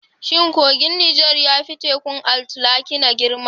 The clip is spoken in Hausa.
Shin kogin Nijar ya fi Tekun Atlantika girma?